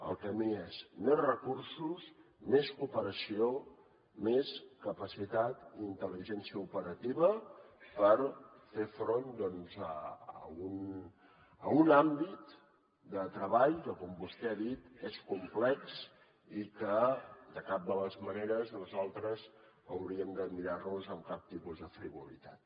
el camí és més recursos més cooperació més capacitat i intel·ligència operativa per fer front doncs a un àmbit de treball que com vostè ha dit és complex i que de cap de les maneres nosaltres hauríem de mirar nos amb cap tipus de frivolitat